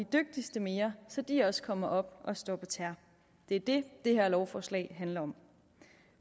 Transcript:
dygtigste mere så de også kommer op at stå på tæer det er det det her lovforslag handler om